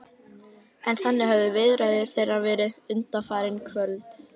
En þannig höfðu viðræður þeirra verið undanfarin kvöld.